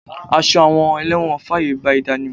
Aṣọ àwọn elẹ́wọ̀n fàyè gba ìdánimọ̀.